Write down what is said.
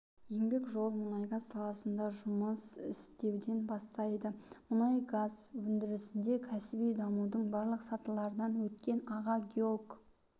еңбек жолын мұнайгаз саласында жұмыс істеуден бастайды мұнайгаз өндірісінде кәсіби дамудың барлық сатыларынан өткен аға геолог